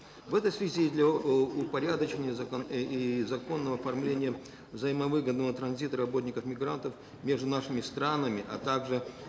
в этой связи для упорядочения законного оформления взаимовыгодного транзита работников мигрантов между нашими странами а также